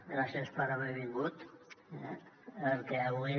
gràcies per haver vingut perquè avui